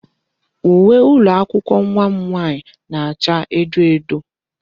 Uwe ụlọ akwụkwọ nwa m nwaanyị na-acha edo edo.